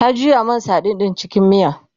ta juya man sadin ɗin cikin miya